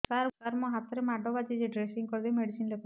ସାର ମୋ ହାତରେ ମାଡ଼ ବାଜିଛି ଡ୍ରେସିଂ କରିଦେଇ ମେଡିସିନ ଲେଖନ୍ତୁ